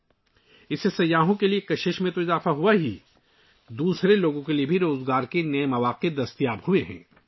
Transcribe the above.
اس سے نہ صرف سیاحوں کی کشش میں اضافہ ہوا ہے بلکہ دوسرے لوگوں کے لیے روزگار کے نئے مواقع بھی پیدا ہوئے ہیں